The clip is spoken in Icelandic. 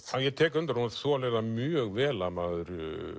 ég tek undir að hún þolir mjög vel að maður